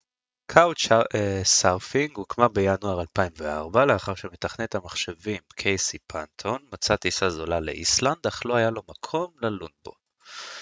couchsurfing הוקמה בינואר 2004 לאחר שמתכנת המחשבים קייסי פנטון מצא טיסה זולה לאיסלנד אך לא היה לו מקום ללון בו